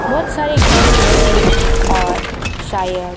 बहुत सारे घर मंदिर और शायद --